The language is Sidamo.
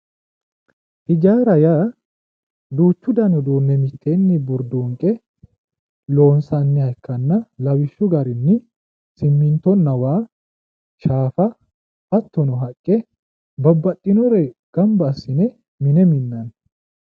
Hijaara yaa duuchu danni uduune mitteeni duune loonsanniha ikkanna lawishshahu garinni simintonna waa shaafa hattono haqqe babbaxinore gamba assine mine mi'nanni